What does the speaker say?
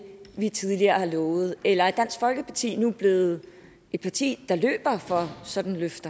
vi tidligere har lovet eller er dansk folkeparti nu blevet et parti der løber fra sådanne løfter